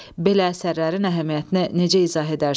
Belə əsərlərin əhəmiyyətini necə izah edərsiniz?